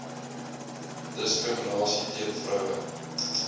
diskriminasie teen vroue